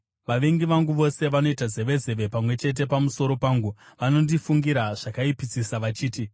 Vavengi vangu vose vanoita zevezeve pamwe chete pamusoro pangu; vanondifungira zvakaipisisa, vachiti,